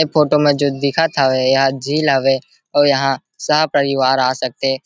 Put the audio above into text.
ऐ फोटो में जो दिखत हावे एहा झील हवे अउ यहां सह परिवार आ सकथे